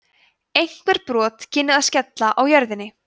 einhver brot kynnu að skella á jörðinni